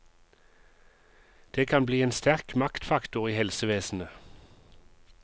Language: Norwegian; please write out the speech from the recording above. Det kan bli en sterk maktfaktor i helsevesenet.